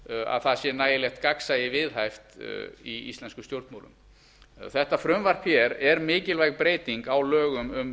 að það sé nægilegt gagnsæi viðhaft í íslenskum stjórnmálum þetta frumvarp er mikilvæg breyting á lögum um